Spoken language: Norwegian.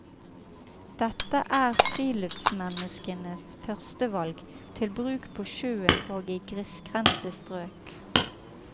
Dette er friluftsmenneskenes førstevalg, til bruk på sjøen og i grisgrendte strøk.